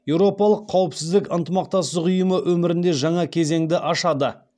еуропалық қауіпсіздік ынтымақтастық ұйымы өмірінде жаңа кезеңді ашады